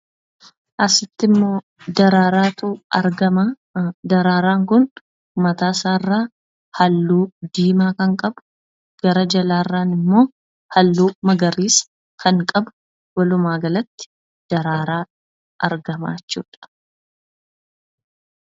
Asittimmoo daraaraatu argama. Daraaraan kun mataasaarraa halluu diimaa kan qabu gara jalaarran immoo halluu magariisa kan qabu, walumaa galatti, daraaraa argamaa jechuudha.